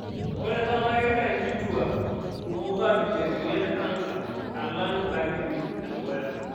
Ore tata, kegira nkitua kumok aabikie emoyian e kansa alang' nkatitin edukuya.